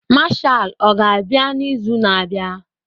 Mashal ọga-abịa n'izu na-abịa?